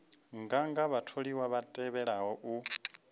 nganga vhatholiwa vha tevhelaho u